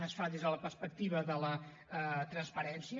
es fa des de la perspectiva de la transparència